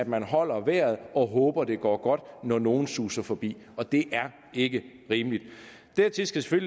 man holder vejret og håber at det går godt når nogle suser forbi og det er ikke rimeligt dertil skal skal